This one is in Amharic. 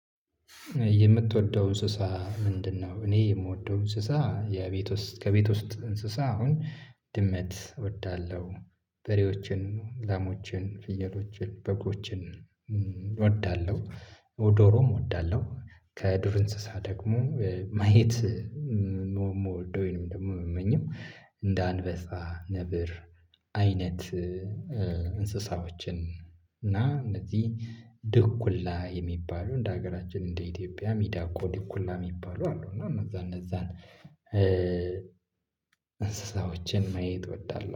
የምትወደው እንስሳ ምንድነው? እኔ የምወደው እንስሳ የቤት ውስጥ ከቤት ውስጥ እንስሳ አሁን ድመት እወዳለሁ በሬዎችን ላሞችን ፍየሎችን በጎችን እወዳለሁ ዶሮም እወዳለሁ። ከዱር እንስሳ ደግሞ ማየት ሞ ምወደው ወይንም ደግሞ የምመኘው እንደ አንበሳ ነብር አይነት እንስሳዎችን እና እነዚህ ድኩላ የሚባሉ እንደ ሀገራችን እንደ ኢትዮጵያ ሚዳቆ ድኩላ የሚባሉ አሉ እና እነዛ እነዛን እንስሳዎችን ማየት እወዳለሁ